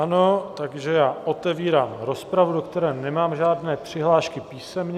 Ano, takže já otevírám rozpravu, do které nemám žádné přihlášky písemně.